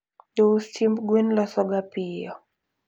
jous chiemb gwen losoga piyo